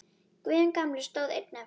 Guðjón gamli stóð einn eftir.